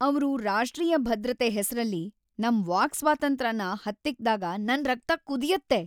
ಅವ್ರು ರಾಷ್ಟ್ರೀಯ ಭದ್ರತೆ ಹೆಸ್ರಲ್ಲಿ ನಮ್ ವಾಕ್ ಸ್ವಾತಂತ್ರ್ಯನ ಹತ್ತಿಕ್ಕ್‌ದಾಗ ನನ್ ರಕ್ತ ಕುದಿಯುತ್ತೆ.